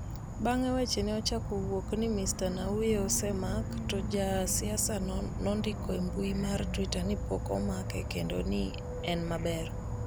Bang’e, weche ne ochako wuok ni Mr Nnauye osemak, to ja siasa no nondiko e mbui mar Twitter ni pok omake kendo ni en maber.